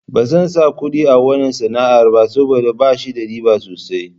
Ba zan sa kuɗi a wanna sana'ar ba saboda bashi da riba sosai.